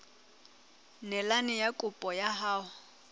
neelane ka kopo ya hao